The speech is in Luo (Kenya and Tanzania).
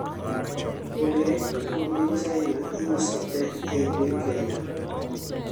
donge rech duto ma piny China iuso tee ei Piny Kenya?